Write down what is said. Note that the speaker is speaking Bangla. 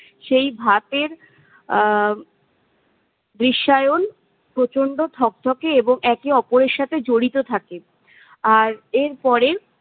সেই ভাতের আহ রিসায়ন প্রচণ্ড থকথকে এবং একে ওপরের সাথে জড়িতো থাকে। আর এর পরে-